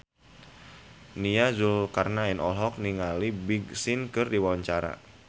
Nia Zulkarnaen olohok ningali Big Sean keur diwawancara